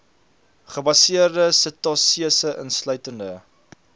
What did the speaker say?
gebaseerde setasese insluitende